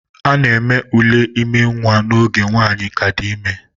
A na-eme ule ime nwa n'oge nwanyi ka di ime